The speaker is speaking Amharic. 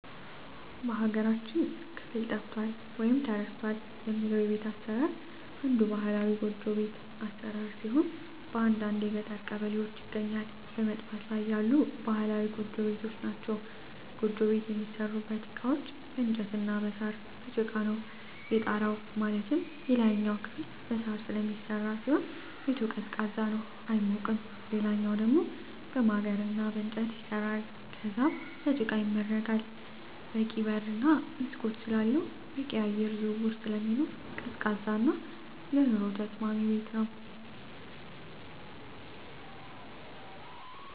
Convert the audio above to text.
በሀገራችን ክፍል ጠፍቷል ወይም ተረስቷል የምለው የቤት አሰራር አንዱ ባህላዊ ጎጆ ቤት አሰራር ሲሆን በአንዳንድ የገጠር ቀበሌዎች ይገኛሉ በመጥፋት ላይ ያሉ ባህላዊ ጎጆ ቤቶች ናቸዉ። ጎጆ ቤት የሚሠሩበት እቃዎች በእንጨት እና በሳር፣ በጭቃ ነው። የጣራው ማለትም የላይኛው ክፍል በሳር ስለሚሰራ ሲሆን ቤቱ ቀዝቃዛ ነው አይሞቅም ሌላኛው ደሞ በማገር እና በእንጨት ይሰራል ከዛም በጭቃ ይመረጋል በቂ በር እና መስኮት ስላለው በቂ የአየር ዝውውር ስለሚኖር ቀዝቃዛ እና ለኑሮ ተስማሚ ቤት ነው።